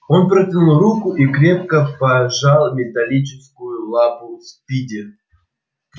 он протянул руку и крепко пожал металлическую лапу спиди